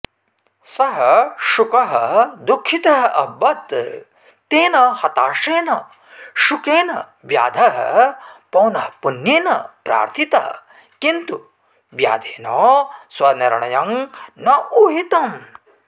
सः शुकः दुःखितः अभवत् तेन हताशेन शुकेन व्याधः पौनःपुन्येन प्रार्थितः किन्तु व्याधेन स्वनिर्णयं न ऊहितम्